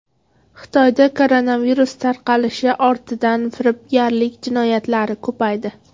Xitoyda koronavirus tarqalishi ortidan firibgarlik jinoyatlari ko‘paydi.